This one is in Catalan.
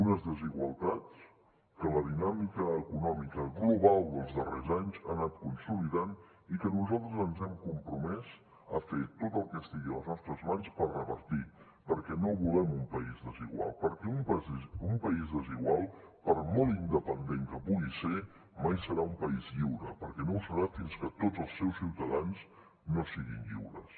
unes desigualtats que la dinàmica econòmica global dels darrers anys ha anat consolidant i que nosaltres ens hem compromès a fer tot el que estigui a les nostres mans per revertir perquè no volem un país desigual perquè un país desigual per molt independent que pugui ser mai serà un país lliure perquè no ho serà fins que tots els seus ciutadans no siguin lliures